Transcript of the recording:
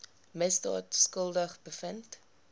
misdaad skuldig bevind